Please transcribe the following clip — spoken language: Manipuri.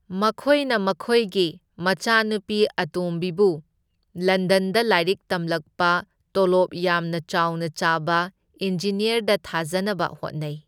ꯃꯈꯣꯢꯅ ꯃꯈꯣꯢꯒꯤ ꯃꯆꯥꯅꯨꯄꯤ ꯑꯇꯣꯝꯕꯤꯕꯨ ꯂꯟꯗꯟꯗ ꯂꯥꯢꯔꯤꯛ ꯇꯝꯂꯛꯄ ꯇꯣꯂꯣꯞ ꯌꯥꯝꯅ ꯆꯥꯎꯅ ꯆꯥꯕ ꯏꯟꯖꯤꯅ꯭ꯌꯥꯔꯗ ꯊꯥꯖꯅꯕ ꯍꯣꯠꯅꯩ꯫